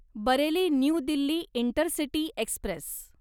Bareilly New Delhi intercity Express